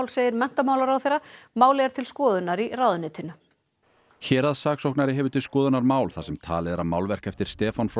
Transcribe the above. segir menntamálaráðherra málið er til skoðunar í ráðuneytinu héraðssaksóknari hefur til skoðunar mál þar sem talið er að málverk eftir Stefán frá